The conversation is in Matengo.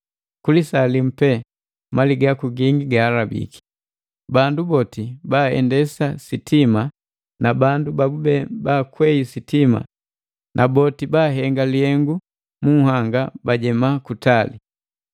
Ku lisaa limu pee mali gingi yaku ihobiki!” Bandu boti baaendesa sitima na bandu babu baakwei sitima, na boti bahenga lihengu mu nhanga bajema kutali,